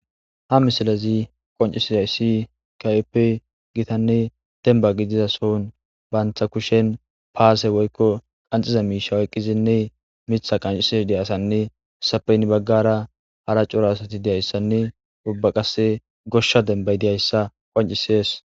ha misilazi qoncisiza issi kayeppe gitanne denba gidiza soun baantha kushen paase woykko qanxiza miisha oyqqizinne mitha qancises deyasanne sapeynn baggara hara curo asati deyayssanne ubba qasse goshsha dembay deyayssa qoncisees